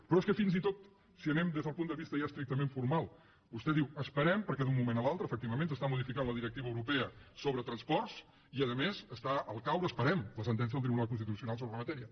però és que fins i tot si hi anem des del punt de vista ja estrictament formal vostè diu esperem perquè d’un moment a l’altre efectivament s’està modificant la directiva europea sobre transports i a més està al caure la sentència del tribunal constitucional sobre la matèria